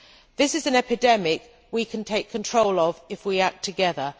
This is an epidemic we can take control of if we act together.